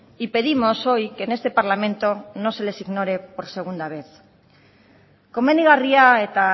y pedimos hoy que en este parlamento no les ignore por segunda vez komenigarria eta